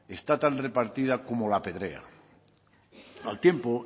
está tan propiedad como la pedrea al tiempo